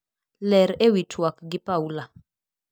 Ler ewi tuak gi Paula.